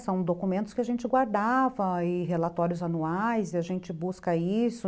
São documentos que a gente guardava e relatórios anuais e a gente busca isso.